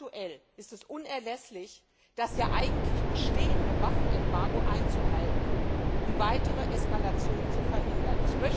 Ganz aktuell ist es unerlässlich, das ja eigentlich bestehende Waffenembargo einzuhalten, um weitere Eskalationen zu verhindern.